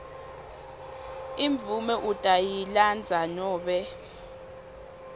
imvumo utayilandza nobe